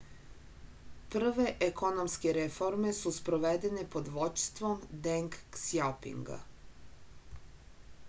prve ekonomske reforme su sprovedene pod vođstvom deng ksjaopinga